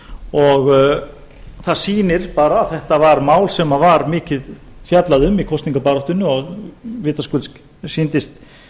og það sýnir bara að þetta var mál sem var mikið fjallað um í kosningabaráttunni og vitaskuld sýndist